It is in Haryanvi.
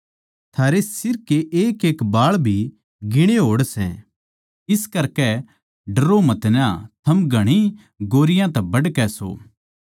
थारै सिर के एकएक बाळ भी गिणे होड़े सै इस करकै डरो मतना थम घणी गौरैयाँ तै बढ़कै सो